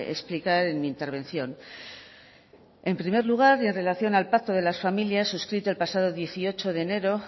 explicar en mi intervención en primer lugar y en relación al pacto de las familias suscrito el pasado dieciocho de enero